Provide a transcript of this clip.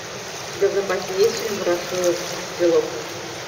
у тебя в запасе есть фильм ворошиловский стрелок